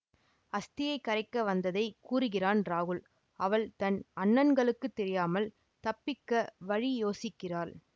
அஸ்தியைக் கரைக்க வந்ததை கூறுகிறான் ராகுல் அவள் தன் அண்ணன்களுக்கு தெரியாமல் தப்பிக்க வழி யோசிக்கிறாள்